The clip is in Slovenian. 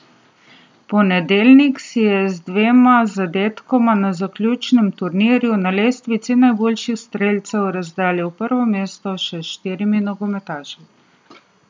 Ponedeljnik si je z dvema zadetkoma na zaključnem turnirju na lestvici najboljših strelcev razdelil prvo mesto še s štirimi nogometaši.